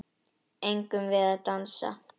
Eigum við að dansa?